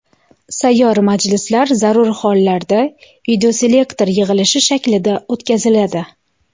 Sayyor majlislar zarur hollarda videoselektor yig‘ilishi shaklida o‘tkaziladi.